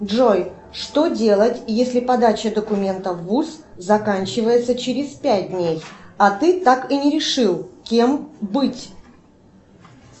джой что делать если подача документов в вуз заканчивается через пять дней а ты так и не решил кем быть